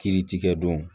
Kiiritigɛ don